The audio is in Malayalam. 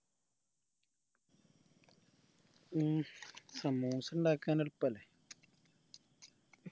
ഉം സമൂസ ഇണ്ടാകാൻ എളുപ്പല്ലേ